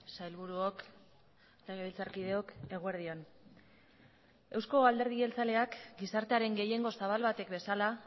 sailburuok legebiltzarkideok eguerdi on eusko alderdi jeltzaleak gizartearen gehiengo zabal batek bezala